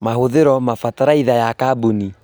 Mahũthĩro mabataraitha ya kaboni